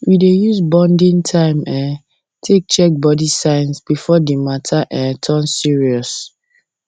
we dey use bonding time um take check body signs before um the matter um um turn serious